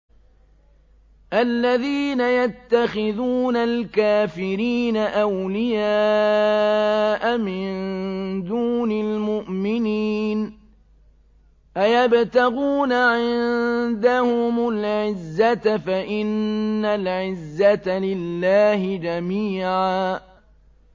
الَّذِينَ يَتَّخِذُونَ الْكَافِرِينَ أَوْلِيَاءَ مِن دُونِ الْمُؤْمِنِينَ ۚ أَيَبْتَغُونَ عِندَهُمُ الْعِزَّةَ فَإِنَّ الْعِزَّةَ لِلَّهِ جَمِيعًا